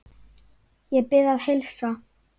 Ég bið að heilsa.